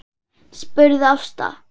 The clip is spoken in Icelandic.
spurði Ásta.